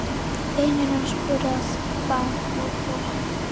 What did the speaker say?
Vinir hans voru á bak og burt.